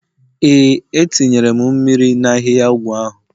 Ee, etinyere m mmiri na ahihia ọgwụ ahu